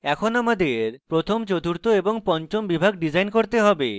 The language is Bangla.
এখন আমাদের প্রথম চতুর্থ ও পঞ্চম বিভাগ ডিসাইন করতে have